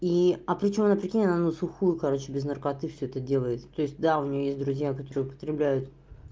и а причём она прикинь она на сухую короче без наркотиков всё это делает то есть да у неё есть друзья которые употребляют